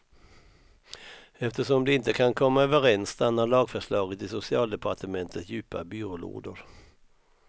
Eftersom de inte kan komma överens stannar lagförslaget i socialdepartementets djupa byrålådor.